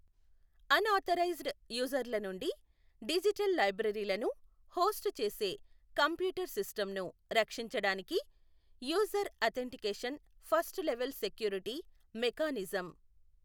Unauthorised user ల నుండి digital లైబ్రరీలను హోస్ట్ చేసే కంప్యూటర్ సిస్టమ్ ను రక్షించడానికి user authentication first level security mechanism.